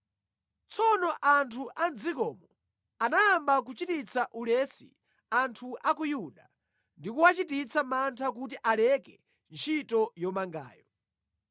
Tsono anthu a mʼdzikomo anayamba kuchititsa ulesi anthu a ku Yuda, ndi kuwachititsa mantha kuti aleke ntchito yomangayo.